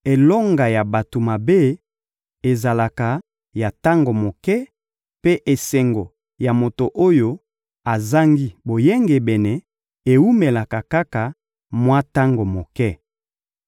elonga ya bato mabe ezalaka ya tango moke, mpe esengo ya moto oyo azangi boyengebene ewumelaka kaka mwa tango moke.